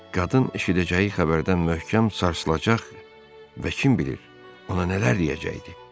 Qadın eşidəcəyi xəbərdən möhkəm sarsılacaq və kim bilir, ona nələr deyəcəkdi?